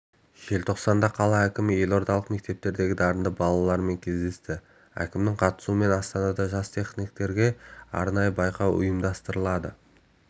желтоқсанда қала әкімі елордалық мектептердегі дарынды балалармен кездесті әкімінің қатысуымен астанада жас тениктерге арнайы байқау ұйымдастырылады